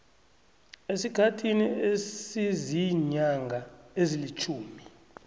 esikhathini esiziinyanga ezilitjhumi